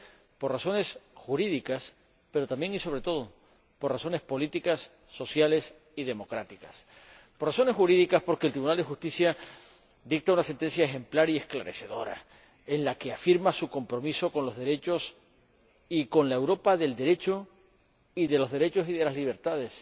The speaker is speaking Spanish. Lo es por razones jurídicas, pero, también y sobre todo, por razones políticas, sociales y democráticas. Por razones jurídicas, porque el Tribunal de Justicia dicta una sentencia ejemplar y esclarecedora, en la que afirma su compromiso con los derechos y con la Europa del Derecho y de los derechos y de las libertades.